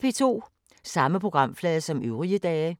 Samme programflade som øvrige dage